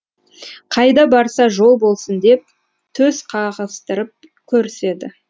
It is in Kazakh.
қайда барса жол болсын деп төс қағыстырып көріседі